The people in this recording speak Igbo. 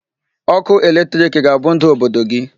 Ọkụ electric ga-abụ ndu Obodo gị.